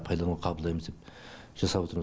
пайдалануға қабылдаймыз деп жасап отырмыз